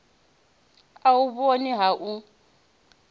a u vhoni ha ho